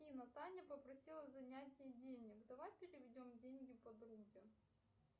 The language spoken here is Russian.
афина таня попросила занять ей денег давай переведем деньги подруге